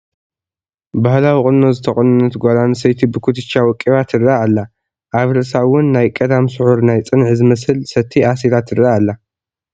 ባህላዊ ቁኖ ዝተቖነነት ጓል ኣነስተይቲ ብኩትቻ ወቂባ ትርአ ኣላ፡፡ ኣብ ርእሳ እውን ናይ ቀዳም ስዑር ናይ ፅንዒ ዝመስል ሰቲ ኣሲራ ትርአ ኣላ፡፡